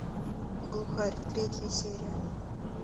глухарь третья серия